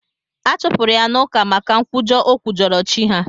Achụpụrụ ya n'ụka maka nkwujọ o kwujọrọ chi ha.